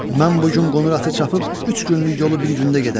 Mən bu gün qonur atı çapıb üç günlük yolu bir gündə gedərəm.